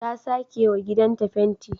Ta sakewa gidanta fenti